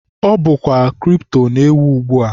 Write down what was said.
Ọ bụkwa kripto na-ewu ugbua.